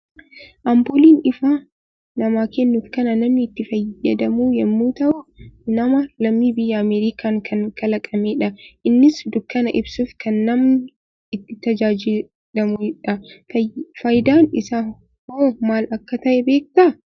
Ampuuliin ifa namaa kennuuf kan namni itti fayyadamu yammuu tahu; nama lammii biyya Ameerikaan kan kalaqamee dha. Innis dukkana ibsuuf kan namni itti tajaajilamuu dha. Faayidaan isaa hoo maal akka tahe beektaa?